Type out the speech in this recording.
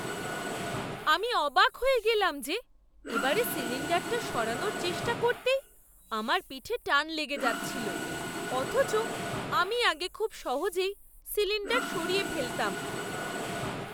আমি অবাক হয়ে গেলাম যে এবারে সিলিণ্ডারটা সরানোর চেষ্টা করতেই আমার পিঠে টান লেগে যাচ্ছিল, অথচ আমি আগে খুব সহজেই সিলিণ্ডার সরিয়ে ফেলতাম!